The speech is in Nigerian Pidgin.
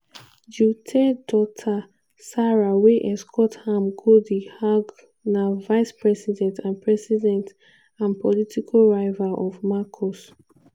duterte daughter sara wey escort am go di hague na vice president and president and political rival of marcos.